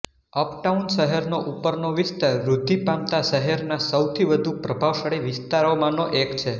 uptown શહેરનો ઉપરનો વિસ્તાર વૃદ્ધિ પામતા શહેરના સૌથી વધુ પ્રભાવશાળી વિસ્તારોમાંનો એક છે